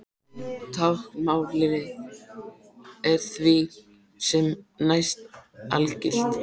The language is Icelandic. Táknmálið er því sem næst algilt.